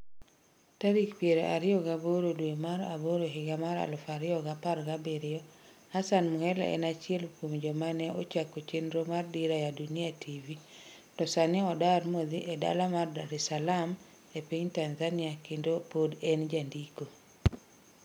Tarik piero ariyo gaboro dwe mar aboro higa mar aluf ariyo gapar gabiriyo Hassan Mhelela en achiel kuom joma ne ochako chenro mar DIRA YA DUNIA TV to sani odar modhi e dala mar Dar es Salaam e piny Tanzania kendo pod en jandiko.